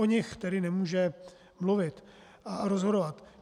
O nich tedy nemůže mluvit a rozhodovat.